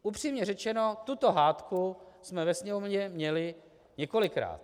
Upřímně řečeno, tuto hádku jsme ve Sněmovně měli několikrát.